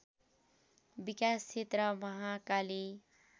विकास क्षेत्र महाकाली